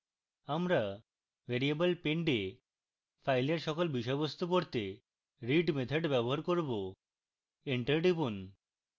আমরা variable pend we file সকল বিষয়বস্তু পড়তে read method ব্যবহার করব এন্টার টিপুন